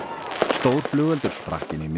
stór flugeldur sprakk inni í